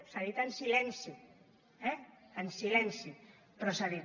s’ha dit en silenci eh en silenci però s’ha dit